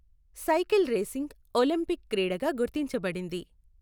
Cycle racing Olympic క్రీడగా గుర్తించబడింది.